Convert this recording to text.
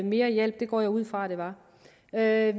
mere hjælp det går jeg ud fra at